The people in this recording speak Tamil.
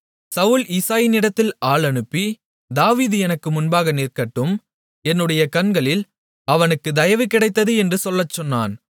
சவுல் ஈசாயினிடத்தில் ஆள் அனுப்பி தாவீது எனக்கு முன்பாக நிற்கட்டும் என்னுடைய கண்களில் அவனுக்குத் தயவு கிடைத்தது என்று சொல்லச் சொன்னான்